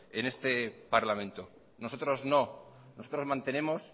en este parlamento nosotros no nosotros mantenemos